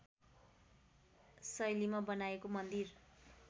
शैलीमा बनाइएको मन्दिर